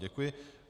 Děkuji.